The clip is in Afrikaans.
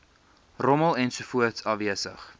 rommel ensovoorts afwesig